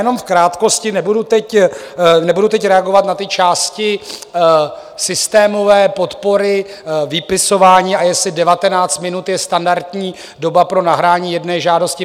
Jenom v krátkosti - nebudu teď reagovat na ty části systémové podpory, vypisování a jestli 19 minut je standardní doba pro nahrání jedné žádosti.